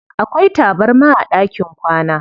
Akwai tabarma a ɗakin kwana.